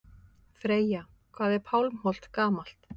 Freyja: Hvað er Pálmholt gamalt?